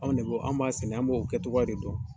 Anw de bo an b'a sɛnɛ an b'o kɛtogoya de dɔn.